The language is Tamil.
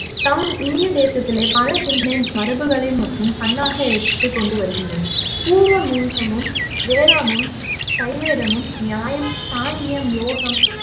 தம் இந்திய தேசத்திலே பல சிந்தனை மரபுகளை மற்றும் கண்ணா எடுத்துக் கொண்டு வருகின்றன பூர்வமின்சமும் வேதமும் சைவேதமும் நியாயம் சாங்கியம் யோகம்